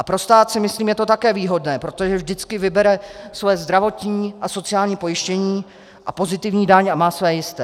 A pro stát si myslím je to také výhodné, protože vždycky vybere své zdravotní a sociální pojištění a pozitivní daň a má své jisté.